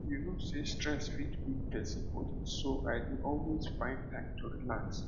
you know sey stress fit weak person body so i dey always find time relax